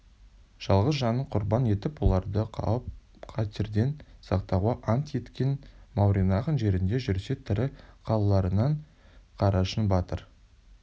жалғыз жанын құрбан етіп оларды қауіп-қатерден сақтауға ант еткен мауреннахр жерінде жүрсе тірі қалуларынан қарашың батыр